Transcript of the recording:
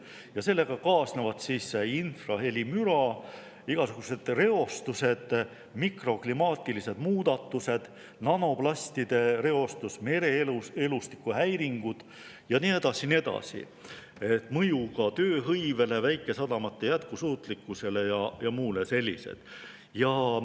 Ja sellega kaasnevad infrahelimüra, igasugused reostused, mikroklimaatilised muudatused, nanoplastide reostus, mereelustiku häiringud ja nii edasi, mõju tööhõivele, väikesadamate jätkusuutlikkusele ja muule sellisele.